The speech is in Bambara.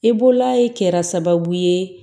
I bolaayi kɛra sababu ye